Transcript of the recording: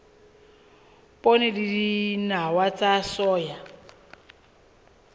poone le dinawa tsa soya